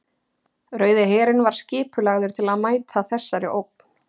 Rauði herinn var skipulagður til að mæta þessari ógn.